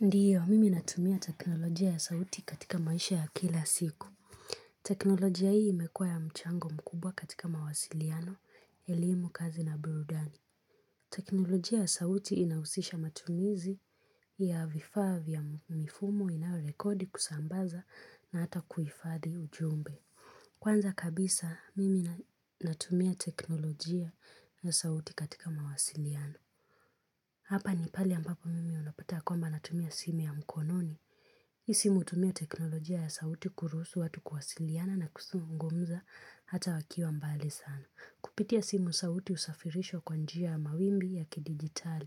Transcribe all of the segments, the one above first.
Ndiyo mimi natumia teknolojia ya sauti katika maisha ya kila siku. Teknolojia hii imekuwa ya mchango mkubwa katika mawasiliano, elimu, kazi na burudani. Teknolojia ya sauti inahusisha matumizi ya vifaa vya mifumo inayorekodi kusambaza na hata kuhifadhi ujumbe. Kwanza kabisa, mimi natumia teknolojia ya sauti katika mawasiliano. Hapa ni pale ambapo mimi unapata ya kwamba natumia simu ya mkononi. Hii simu hutumia teknolojia ya sauti kuruhusu watu kuwasiliana na kuzungumza hata wakiwa mbali sana. Kupitia simu sauti husafirishwa kwa njia ya mawimbi ya kidijitali,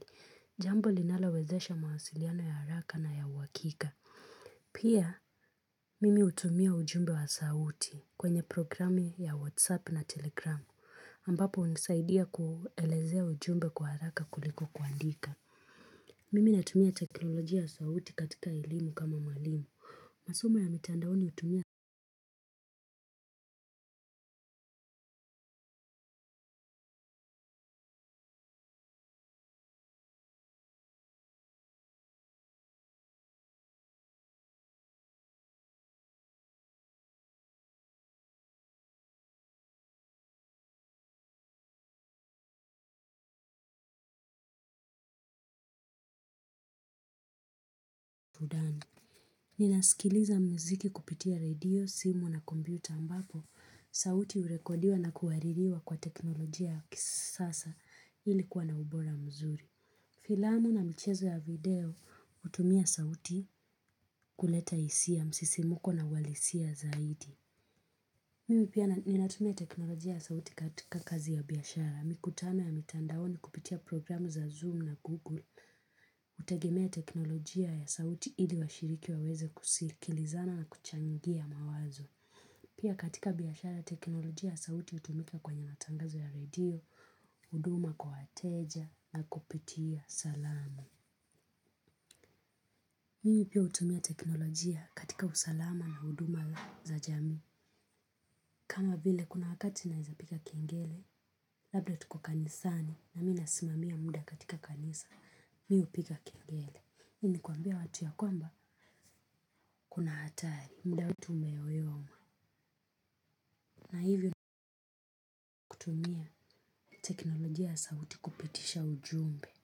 jambo linalowezesha mawasiliano ya haraka na ya uhakika. Pia, mimi hutumia ujumbe wa sauti kwenye programu ya WhatsApp na Telegram, ambapo hunisaidia kuelezea ujumbe kwa haraka kuliko kuandika. Mimi natumia teknolojia ya sauti katika elimu kama mwalimu. Masomo ya mitandaoni hutumia ninasikiliza muziki kupitia redio, simu na kompyuta ambapo. Sauti hurekodiwa na kuhaririwa kwa teknolojia ya kisasa ili kuwa na ubora mzuri. Filamu na michezo ya video hutumia sauti kuleta hisia ya msisimko na uhalisia zaidi. Mimi pia ninatumia teknolojia ya sauti katika kazi ya biashara. Mikutano ya mitandaoni kupitia programu za zoom na google. Hutegemea teknolojia ya sauti ili washiriki waweze kusikilizana na kuchangia mawazo. Pia katika biashara teknolojia ya sauti hutumika kwenye matangazo ya redio, huduma kwa wateja na kupitia salamu. Mimi pia hutumia teknolojia katika usalama na huduma za jamii. Kama vile kuna wakati naweza piga kengele, labda tuko kanisani na mimi nasimamia muda katika kanisa, mimi hupiga kengele. Hii ni kuambia watu ya kwamba kuna hatari muda wetu umeyoyoma na hivyo kutumia teknolojia ya sauti kupitisha ujumbe.